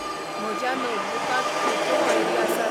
म्ह्ज्या नोटबुकांत खंयच्यो वळेरी आसात ?